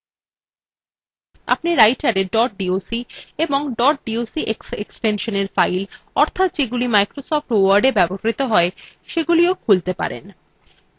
আপনি writerএ dot doc এবং dot docx এক্সটেনশনএর files অর্থাৎ যেগুলি microsoft wordএ ব্যবহৃত you সেগুলিও খুলতে পারেন